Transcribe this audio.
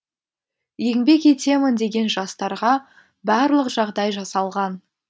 еңбек етемін деген жастарға барлық жағдай жасалған